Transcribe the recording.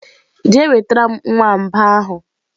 je wetaram nwamba ahu!.